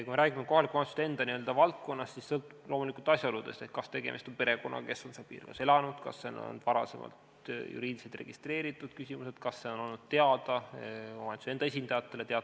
Kui me räägime kohaliku omavalitsuse enda valdkonnast, siis sõltub loomulikult asjaoludest, kas tegemist on perekonnaga, kes on seal piirkonnas elanud, kas seal on varasemalt juriidiliselt registreeritud küsimused, kas see on olnud teada omavalitsuse enda esindajatele jne.